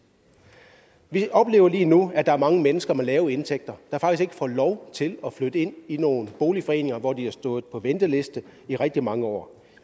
vi oplever lige nu at der er mange mennesker med lave indtægter der faktisk ikke får lov til at flytte ind i nogle boligforeninger hvor de har stået på venteliste i rigtig mange år